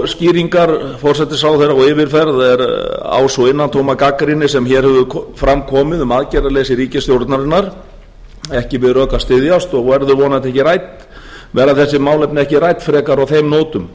skýringar forsætisráðherra og yfirferð á sú innantóma gagnrýni sem hér hefur fram komið um aðgerðaleysi ríkisstjórnarinnar ekki við rök að styðjast og verður vonandi ekki rædd verða þessi málefni ekki rædd frekar á þeim nótum